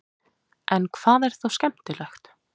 en hvað er þá skemmtilegt